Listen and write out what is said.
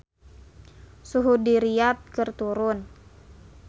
Suhu di Riyadh keur turun